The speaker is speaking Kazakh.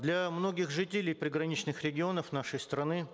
для многих жителей приграничных регионов нашей страны